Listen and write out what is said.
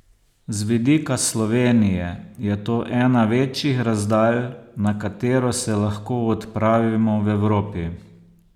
Z vidika Slovenije je to ena večjih razdalj, na katero se lahko odpravimo v Evropi.